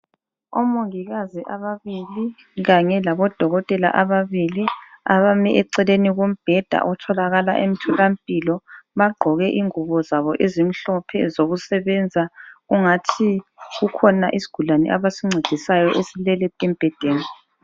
Omongikazi ababili kanye labodokotela ababili abame eceleni kombheda otholakala emtholampilo, bagqoke ingubo zabo ezimhlophe zokusebenza kungathi kukhona isigulane abasincedisayo silele embhedeni.